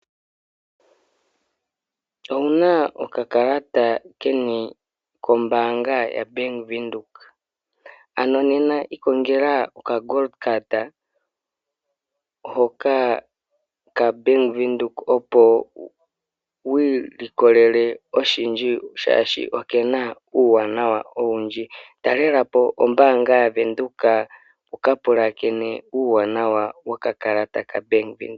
Owuna okakalata keni kombaanga ya Venduka ano nena ikongela oka kakalata koye koshingoli hoka kavenduka opo wi ilikolele oshindji oshoka okena uuwanawa owundji . Talelapo ombaanga yaVenduka wuka pulakene uuwanawa wokakalata Venduka.